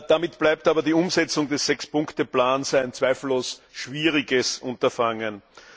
Damit bleibt aber die Umsetzung des 6 Punkte Plans ein zweifellos schwieriges Unterfangen.